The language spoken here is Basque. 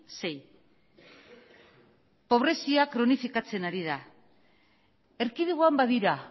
sei pobrezia kronifikatzen ari da erkidegoan badira